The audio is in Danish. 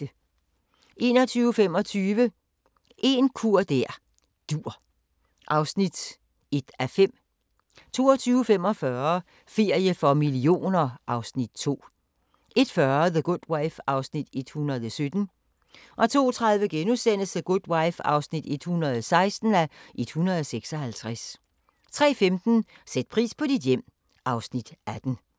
21:25: En kur der dur (1:5) 22:45: Ferie for millioner (Afs. 2) 01:40: The Good Wife (117:156) 02:30: The Good Wife (116:156)* 03:15: Sæt pris på dit hjem (Afs. 18)